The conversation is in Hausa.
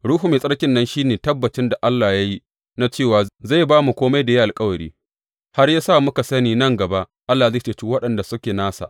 Ruhu Mai Tsarkin nan shi ne tabbacin da Allah ya yi na cewa zai ba mu kome da ya yi alkawari, har ya sa muka sani nan gaba Allah zai ceci waɗanda suke nasa.